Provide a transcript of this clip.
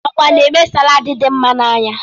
Ọkpa n'eme saladi dị mma n'anya.